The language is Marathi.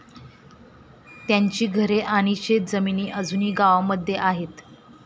त्यांची घरे आणि शेत जमिनी अजूनही गावामध्ये आहेत.